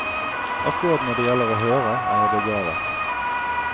Akkurat når det gjelder å høre, er jeg begavet.